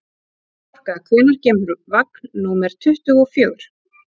Korka, hvenær kemur vagn númer tuttugu og fjögur?